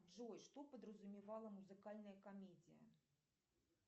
джой что подразумевала музыкальная комедия